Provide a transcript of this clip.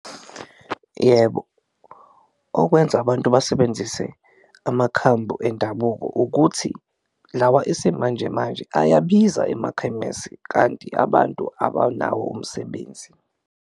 Yebo, okwenza abantu basebenzise amakhambu endabuko ukuthi lawa isimanjemanje ayabiza emakhemesi kanti abantu abanawo umsebenzi.